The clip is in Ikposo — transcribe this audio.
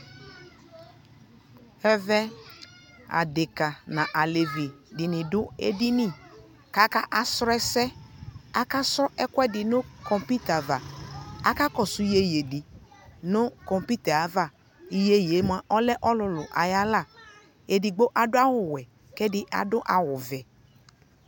ɛvɛ adɛka nʋ alɛvi dini dʋ ɛdini kʋ aka srɔ ɛsɛ, aka su ɛkʋɛdi nʋ kɔmpʋta aɣa, akakɔsʋ yɛyɛɛ di nʋ kɔmpʋta aɣa, yɛyɛɛ mʋa ɔlɛ ɔlʋlʋ ayi ala, ɛdigbɔ adʋ awʋ wɛɛ kʋ ɛdi adʋ awʋ vɛɛ